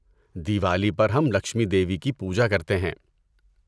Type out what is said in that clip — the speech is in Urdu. دیوالی پر ہم لکشمی دیوی کی پوجا کرتے ہیں۔